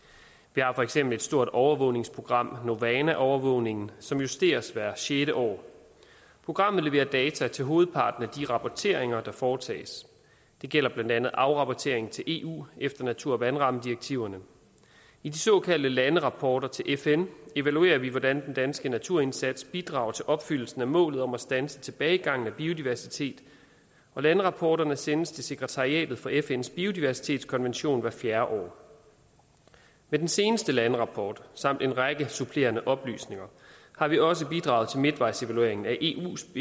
vi har for eksempel et stort overvågningsprogram novana overvågningen som justeres hvert sjette år programmet leverer data til hovedparten af de rapporteringer der foretages det gælder blandt andet afrapporteringen til eu efter natur og vandrammedirektiverne i de såkaldte landerapporter til fn evaluerer vi hvordan den danske naturindsats bidrager til opfyldelsen af målet om at standse tilbagegangen af biodiversitet landerapporterne sendes til sekretariatet for fns biodiversitetskonvention hvert fjerde år med den seneste landerapport samt en række supplerende oplysninger har vi også bidraget til midtvejsevalueringen af eus